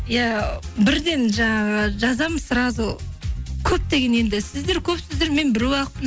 иә бірден жаңағы жазамын сразу көптеген енді сіздер көпсіздер мен біреу ақпын